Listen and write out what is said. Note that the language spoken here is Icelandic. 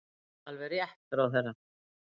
Alveg rétt, ráðherra!